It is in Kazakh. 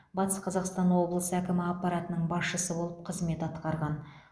батыс қазақстан облысы әкімі аппаратының басшысы болып қызмет атқарған